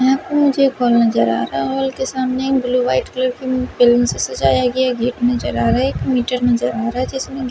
यहां पर मुझे हॉल नजर आ रहा है हॉल के सामने एक ब्लू वाइट कलर के से सजाया गया गेट नजर आ रहा है एक मीटर नजर आ रहा है जिसमें--